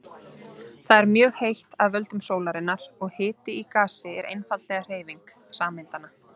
Þar er mjög heitt af völdum sólarinnar og hiti í gasi er einfaldlega hreyfing sameindanna.